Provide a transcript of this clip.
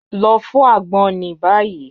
Lọ fọ agbon ni bayi.